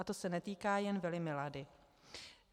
A to se netýká jen vily Milady.